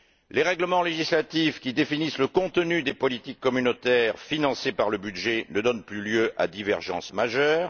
Les règlements législatifs, qui définissent le contenu des politiques communautaires financées par le budget, ne donnent plus lieu à divergence majeure.